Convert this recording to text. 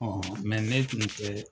Ɔn ne tun tɛ